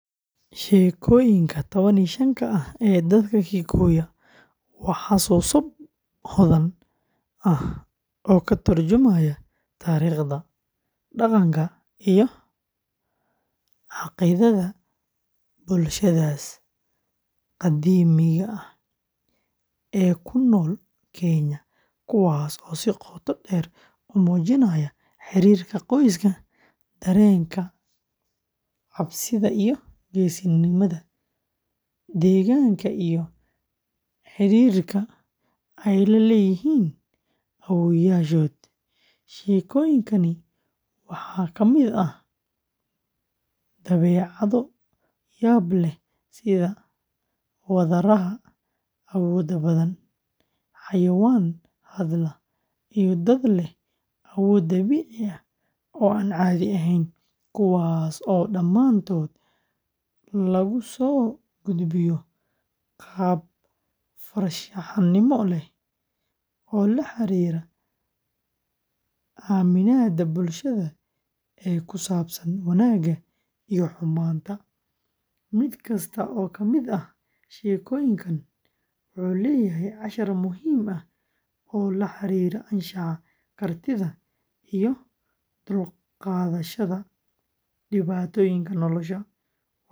Sheekooyinka tawan iyo shaanka ah ee dadka Gikuyu waa xusuuso hodan ah oo ka turjumaya taariikhda, dhaqanka, iyo caqiidada bulshadaas qadiimiga ah ee ku nool Kenya, kuwaas oo si qoto dheer u muujinaya xiriirka qoyska, dareenka cabsida iyo geesinimada, deegaanka, iyo xidhiidhka ay la leeyihiin awoowayaashood. Sheekooyinkani waxaa ka mid ah dabeecado yaab leh sida wadaraha awooda badan, xayawaan hadla, iyo dad leh awood dabiici ah oo aan caadi ahayn, kuwaas oo dhammaantood lagu soo gudbiyo qaab farshaxanimo leh oo la xiriira aaminaadda bulshada ee ku saabsan wanaagga iyo xumaanta. Mid kasta oo ka mid ah sheekooyinkan wuxuu leeyahay cashar muhiim ah oo la xiriira anshaxa, kartida, iyo u dulqaadashada dhibaatooyinka nolosha.